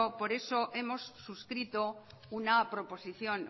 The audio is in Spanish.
por eso hemos suscrito una proposición